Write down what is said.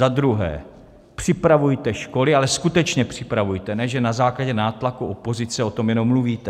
Za druhé, připravujte školy, ale skutečně připravujte, ne že na základě nátlaku opozice o tom jenom mluvíte.